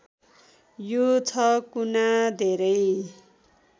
यो छ गुना धेरै